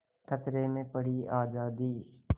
खतरे में पड़ी आज़ादी